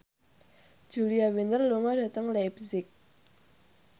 Julia Winter lunga dhateng leipzig